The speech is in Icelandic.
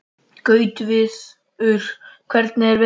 Gautviður, hvernig er veðurspáin?